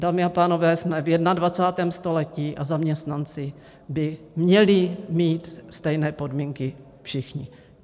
Dámy a pánové, jsme v 21. století a zaměstnanci by měli mít stejné podmínky všichni.